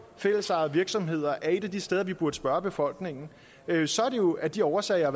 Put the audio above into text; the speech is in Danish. fællesejede virksomheder er et af de steder vi burde spørge befolkningen så er det jo af de årsager